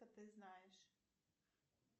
ты знаешь